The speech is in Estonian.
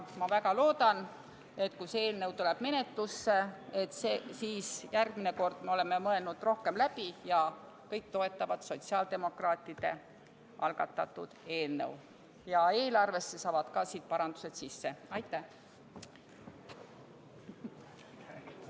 Ma väga loodan, et kui see eelnõu tuleb menetlusse, siis järgmine kord me oleme rohkem läbi mõelnud ja kõik toetavad sotsiaaldemokraatide algatatud eelnõu, ja eelarvesse saavad ka siit parandused sisse.